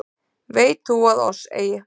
Veit þú að oss eigi